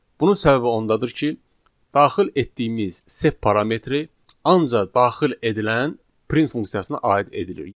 Bunun səbəbi ondadır ki, daxil etdiyimiz sep parametri ancaq daxil edilən print funksiyasına aid edilir.